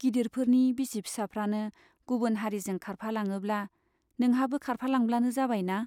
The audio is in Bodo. गिदिरफोरनि बिसि फिसाफ्रानो गुबुन हारिजों खारफालाङोब्ला , नोंहाबो खारफालांब्लानो जाबायना।